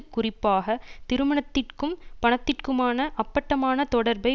குறிப்பாக திருமணத்திற்கும் பணத்திற்குமான அப்பட்டமான தொடர்பை